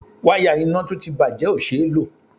Wáyà iná tó ti bàjé o ṣé ló.